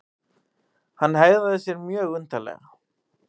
Hann hegðaði sér mjög undarlega.